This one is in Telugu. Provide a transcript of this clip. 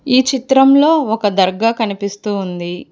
ఈ చిత్రంలో ఒక దర్గా కనిపిస్తూ ఉంది.